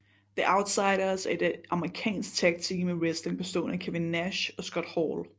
The Outsiders er et amerikansk tagteam i wrestling bestående af Kevin Nash og Scott Hall